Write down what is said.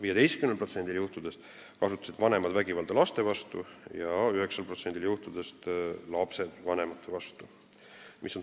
15%-l juhtudest kasutasid vanemad vägivalda laste vastu ja 9%-l juhtudest lapsed vanemate vastu.